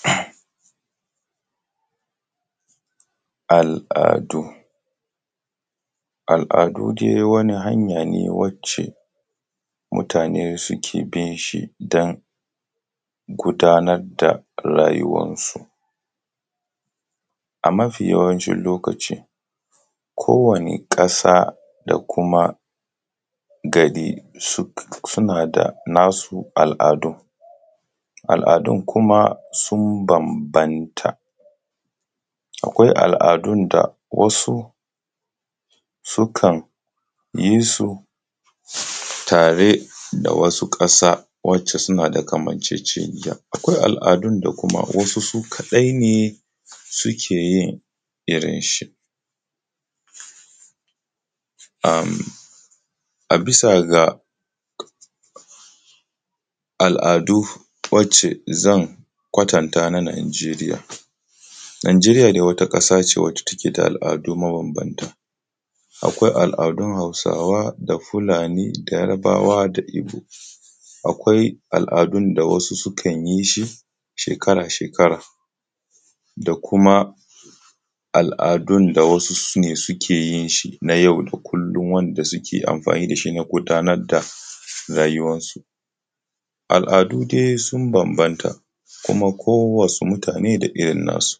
Al'adu, aladu dai wani hanya ne wacce mutane suke bin shi don gudanar da rayuwansu a mafi yawanci lokacin kowanne ƙasa da kuma garin duk suna da nasu al'adun, al'adun kuma sun bambanta. Akwai al'adu wasu sun sukan yi su tare da wasu ƙasa wanda suna da kamanceceniya akwai al'adu da wasu kaɗai ne suke yin shi a bisa ga al'adu wacce zan kwatanta a nan Nijeriya. Nijeriya wata ƙasa ce wacce take da al'adu mabambanta akwai al'adu hausawa Fulani da yarbawa da igbo, akwai al'adu da wasu sukan yi shi shekara-shekara da kuma al'adu da wasu ke yin na yau da kullum wanda suke amfani da shi na gudanar da rayuwansu. Al'adu dai sun bambanta kuma kowanne mutane da irin nasu.